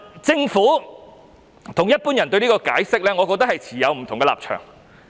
政府與一般人對此持有不同立場。